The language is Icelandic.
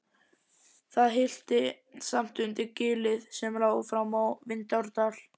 Það hillti samt undir gilið sem lá fram á Vindárdal.